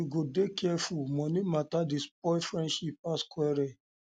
you go dey careful money mata dey spoil friendship pass quarrel